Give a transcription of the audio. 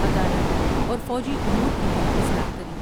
عدالت اور فوجی امور کی بھی اصلاح کری۔